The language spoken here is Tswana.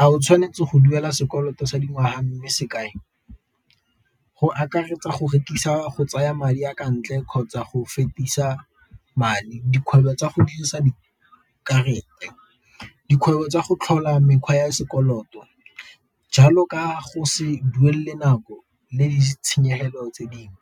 a o tshwanetse go duela sekoloto sa dingwaga . Go akaretsa go rekisa, go tsaya madi a ntle kgotsa go fetisa madi. Dikgwebo tsa go dirisa dikarata, dikgwebo tsa go tlhola mekgwa ya sekoloto jalo ka go se duelele nako le ditshenyegelo tse dingwe.